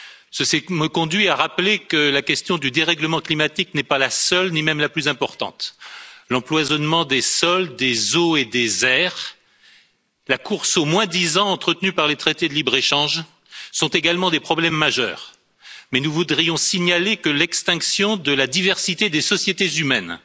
Ceci me conduit à rappeler que la question du dérèglement climatique n'est pas la seule, ni même la plus importante. L'empoisonnement des sols, des eaux et des airs, la course au moins disant entretenue par les traités de libre échange, sont également des problèmes majeurs, mais nous voudrions signaler que l'extinction de la diversité des sociétés humaines,